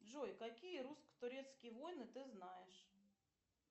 джой какие русско турецкие войны ты знаешь